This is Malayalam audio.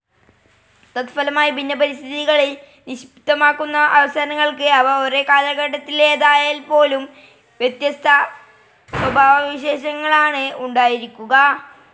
തത്ഫലമായി ഭിന്ന പരിതസ്ഥിതികളിൽ നിക്ഷിപ്തമാകുന്ന അവസരങ്ങൾക്ക്, അവ ഒരേ കാലഘട്ടത്തിലേതായാൽപ്പോലും, വ്യത്യസ്ത സ്വഭാവവിശേഷങ്ങളാണ് ഉണ്ടായിരിക്കുക.